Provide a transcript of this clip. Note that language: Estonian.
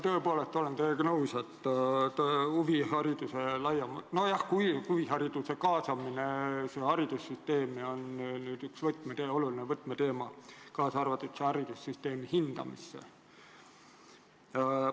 Tõepoolest, olen teiega nõus, et huvihariduse kaasamine haridussüsteemi on üks võtmeteemasid, kaasa arvatud see haridussüsteemi hindamine.